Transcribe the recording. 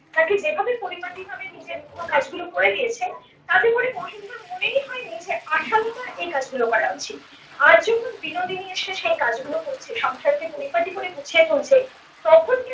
তাকে যেভাবে পরিপাটিভাবে নিজের মতো কাজগুলো করে দিয়েছেন তাতে করে মহেন্দ্রর মনেই হয়নি যে আশালতার এ কাজগুলো করা উচিত। আজ যখন বিনোদনী এসে সে কাজ গুলো করছে সংসার কে পরিপাটি করে গুছিয়ে তুলছে তখন